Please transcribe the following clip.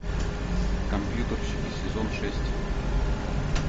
компьютерщики сезон шесть